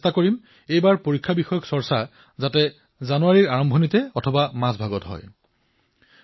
কিন্তু মই চেষ্টা কৰিম এইবাৰ পৰীক্ষাৰ ওপৰত চৰ্চা জানুৱাৰীৰ আৰম্ভণিতে অথবা মাজতেই হওক